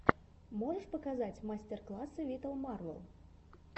можешь показать мастер классы виталмарвел